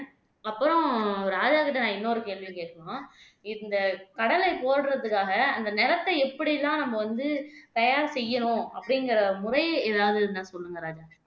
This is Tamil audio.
அப்புறம் ராஜாகிட்ட நான் இன்னொரு கேள்வி கேட்கணும் இந்த கடலை போடறதுக்காக அந்த நிலத்தை எப்படி எல்லாம் நம்ம வந்து தயார் செய்யணும் அப்படிங்கிற முறை ஏதாவது இருந்தா சொல்லுங்க ராஜா